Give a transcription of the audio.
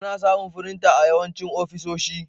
Ana samun firinta a yawancin ofisoshi.